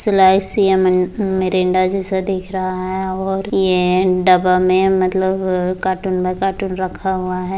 Slice ये Mirinda जैसे दिख रहा है और यह डब्बा में मतलब अ कार्टून में कार्टून रखा हुआ है।